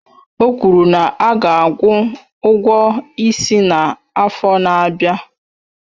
O kwuru na a ga-akwụ ụgwọ isi ya n'afọ na-abịa